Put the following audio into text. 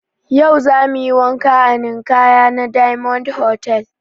Yau zamuyi wanka a ninkaya na diyamond hotal